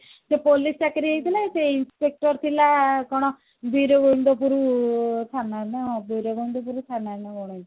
ସେ police ଚାକିରି ହେଇଥିଲା ସେ inspector ଥିଲା କଣ ବିରଗୋବିନ୍ଦ ପୁର ଥାନାରେ ନା ବିରଗୋବିନ୍ଦ ପୁର ଥାନାରେ ନା କଣ